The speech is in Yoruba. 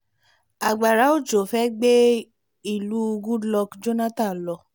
agbára òjò fẹ́ gbé ìlú goodluck jonathan lọ